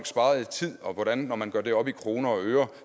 sparet i tid og hvordan det når man gør det op i kroner og øre